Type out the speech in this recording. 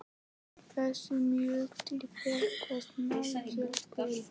þessum mjög til Heklu og Snæfellsjökuls.